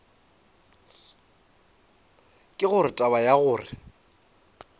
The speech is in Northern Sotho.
ke gore taba ya gore